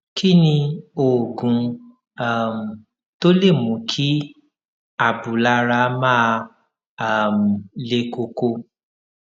kí ni oògùn um tó lè mú kí abúlára máa um le koko